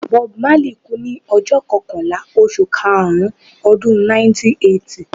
Bob Marley kú ní ọjọ́ kọkànlá oṣù karùn-ún Ọdún 1981.